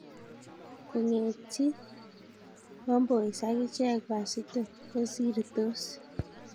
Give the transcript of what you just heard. Kong'etyi KK Homeboyz ak icheek Wazito kosirtos.